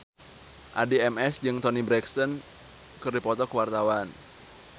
Addie MS jeung Toni Brexton keur dipoto ku wartawan